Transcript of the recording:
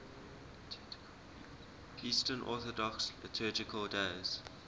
eastern orthodox liturgical days